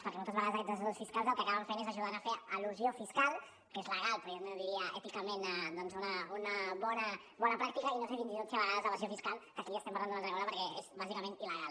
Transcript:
perquè moltes vegades aquests assessors fiscals el que acaben fent és ajudar a fer elusió fiscal que és legal però jo no diria èticament doncs una bona pràctica i no sé fins i tot si a vegades evasió fiscal que aquí ja estem parlant d’una altra cosa perquè és bàsicament il·legal